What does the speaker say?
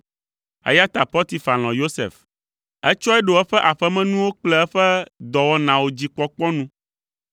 eya ta Potifar lɔ̃ Yosef. Etsɔe ɖo eƒe aƒemenuwo kple eƒe dɔwɔnawo dzi kpɔkpɔ nu.